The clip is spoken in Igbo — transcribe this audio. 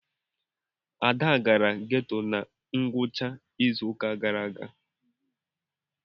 Ada gara geto na ngwụcha izu ụka gara aga.